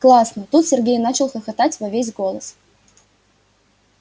классно тут сергей начал хохотать во весь голос